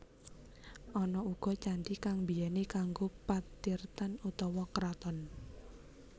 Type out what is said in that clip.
Ana uga candhi kang mbiyèné kanggo patirtan utawa kraton